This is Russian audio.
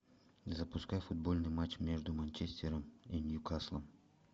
запускай футбольный матч между манчестером и ньюкаслом